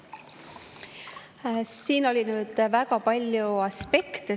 Suur tänu küsimuse eest!